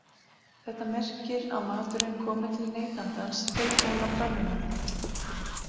Þetta merkir að maturinn komi til neytandans tilbúinn á pönnuna